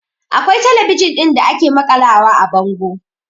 Akwai talabijin ɗin da ake maƙalawa a bango